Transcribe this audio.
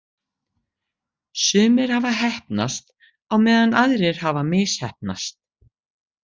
Sumir hafa heppnast, á meðan aðrir hafa misheppnast.